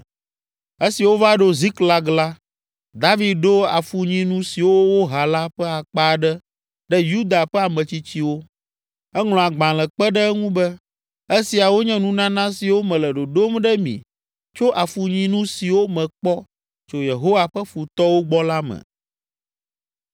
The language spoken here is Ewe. Esi wova ɖo Ziklag la, David ɖo afunyinu siwo woha la ƒe akpa aɖe ɖe Yuda ƒe ametsitsiwo. Eŋlɔ agbalẽ kpe ɖe eŋu be, “Esiawo nye nunana siwo mele ɖoɖom ɖe mi tso afunyinu siwo mekpɔ tso Yehowa ƒe futɔwo gbɔ la me.”